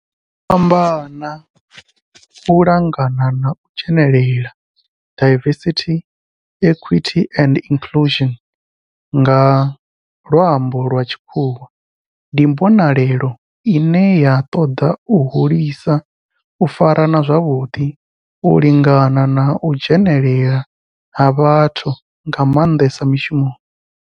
U fhambana, u lingana na u dzhenelela diversity, equity and inclusion nga lwambo lwa tshikhuwa ndi mbonelelo ine ya toda u hulisa u farana zwavhudi, u lingana na u dzhenelela ha vhathu nga mandesa mishumoni.